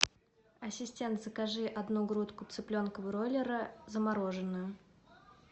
ассистент закажи одну грудку цыпленка бройлера замороженную